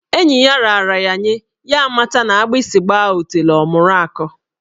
Enyi ya raara ya nye, ya amata na agbịsị gbaa otule ọ mụru akọ.